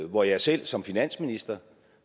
hvor jeg selv som finansminister